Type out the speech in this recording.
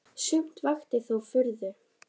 Sumt vakti þó furðu.